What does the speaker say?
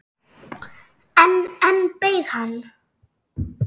En enn beið hann.